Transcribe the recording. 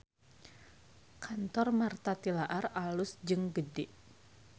Kantor Martha Tilaar alus jeung gede